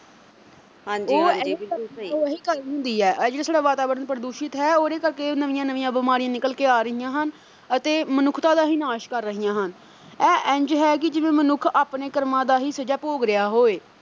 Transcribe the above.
ਉਹੀ ਗੱਲ ਹੁੰਦੀ ਐ ਜਿਹੜਾ ਸਾਡਾ ਵਾਤਾਵਰਣ ਪ੍ਰਦੂਸ਼ਿਤ ਹੈ ਉਹਦੇ ਕਰਕੇ ਇਹ ਨਵੀਂਆ-ਨਵੀਂਆ ਬੀਮਾਰੀਆਂ ਨਿਕਲ ਕੇ ਆ ਰਹੀਆਂ ਹਨ ਅਤੇ ਮਨੁੱਖਤਾ ਦਾ ਹੀ ਨਾਸ਼ ਕਰ ਰਹੀਆਂ ਹਨ ਐ ਇੰਝ ਹੈ ਕਿ ਜਿਵੇਂ ਮਨੁੱਖ ਆਪਣੇ ਕਰਮਾਂ ਦਾ ਹੀ ਸਜ਼ਾ ਭੋਗ ਰਿਹਾ ਹੋਵੇ।